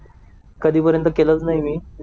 कधीपर्यंत केलंच नाही मी